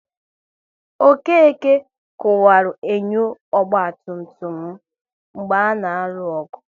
Okeke kuwaru enyo ọgba tum tum m mgbe a na-alụ ọgụ